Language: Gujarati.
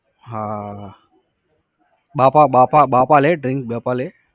હા બાપા બાપા બાપા બાપા લે drink? બાપા લે?